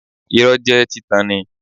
Irọ́ jẹ́ títan ni